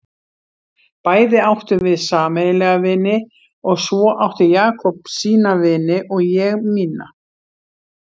Bæði áttum við sameiginlega vini og svo átti Jakob sína vini og ég mína.